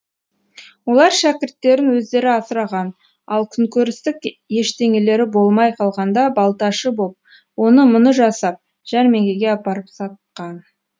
олар шәкірттерін өздері асыраған ал күнкөрістік ештеңелері болмай қалғанда балташы боп оны мұны жасап жәрмеңкеге апарып сатқан